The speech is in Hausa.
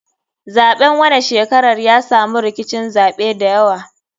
Zaɓen wanan shekarar ya samu rkicin zaɓe dayawa.